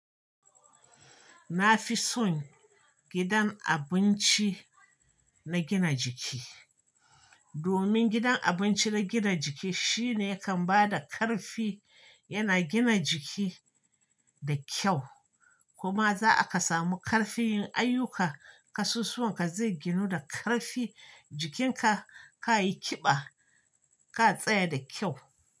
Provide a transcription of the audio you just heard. Na fi son gidan abinci na gina jiki. Domin gidan abinci na gina jiki shine yakan ba da ƙarfi, yana gina jiki da kyau kuma za aka samu ƙarfin yin ayyuka, kasusuwan ka zai ginu da ƙarfi, jikin ka, ka yi ƙiba, ka tsaya da kyau.